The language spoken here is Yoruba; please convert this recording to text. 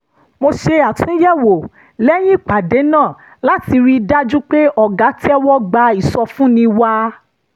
mo ṣe àtúnyẹ̀wò lẹ́yìn ìpàdé náà láti rí i dájú pé ọ̀gá tẹ́wọ́ gba ìsọfúnni wa